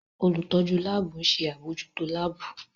Olutọju laabu n ṣe abojuto laabu.